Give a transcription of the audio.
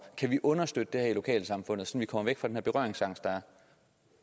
kan vi understøtte det her i lokalsamfundet så vi kommer væk fra den berøringsangst der er